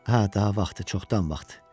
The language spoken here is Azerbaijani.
Hə, daha vaxtı, çoxdan vaxtı.